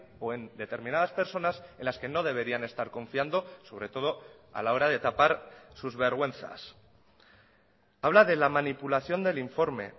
o en determinadas personas en las que no deberían estar confiando sobre todo a la hora de tapar sus vergüenzas habla de la manipulación del informe